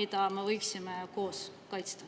mida me võiksime koos kaitsta.